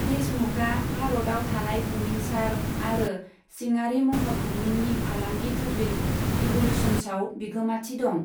देशमुखआ भारताव थानाय बुमिनसार आरो सिङारि महर बुमिननि फालांगि थुबिल, इभ'ल्यूशन्सआव बिगोमाथि दं।